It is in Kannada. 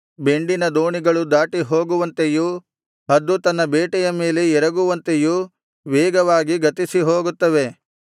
ಬೆಂಡಿನ ದೋಣಿಗಳು ದಾಟಿ ಹೋಗುವಂತೆಯೂ ಹದ್ದು ತನ್ನ ಬೇಟೆಯ ಮೇಲೆ ಎರಗುವಂತೆಯೂ ವೇಗವಾಗಿ ಗತಿಸಿ ಹೋಗುತ್ತವೆ